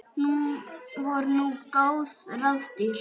Voru nú góð ráð dýr.